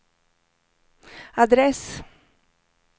adress